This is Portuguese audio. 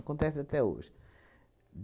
Acontece até hoje.